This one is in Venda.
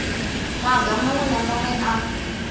maga maṅwe na maṅwe a